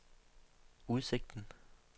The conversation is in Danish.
udsigten